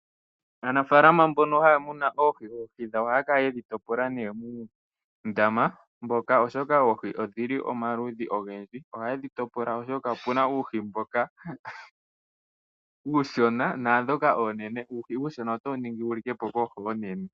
Aanafalama mboka haya munu oohi dhawo ohaya kala ye dhi topola muundama mboka oshoka oohi odhili omaludhi ogendji ohaye dhi topola oshoka opuna uuhi mboka uushona naandhoka oonene, uuhi uushona otawu vulu wu likepo koohi oonene.